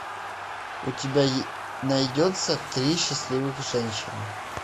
у тебя найдется три счастливых женщины